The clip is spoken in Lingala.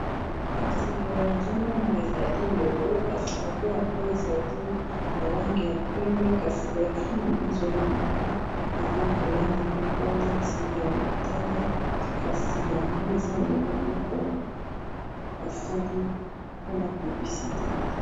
nazomona ezali logo kasi logo yango ezali na langi ya pembe , na motane, eza logo ya SAS Congo.